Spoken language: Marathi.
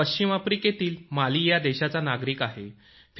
मी पश्चिम आफ्रिकेतील माली या देशाचा नागरिक आहे